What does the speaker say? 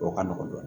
O ka nɔgɔn dɔɔnin